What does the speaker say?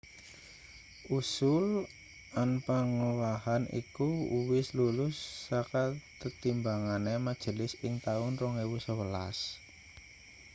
usul anpangowahan iku uwis lulus saka tetimbangane majelis ing taun 2011